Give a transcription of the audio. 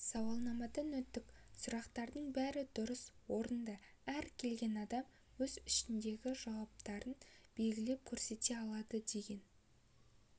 сауалнамадан өттік сұрақтардың бәрі дұрыс орынды әр келген адам өз ішіндегісін жауаптармен белгілеп көрсете алады деген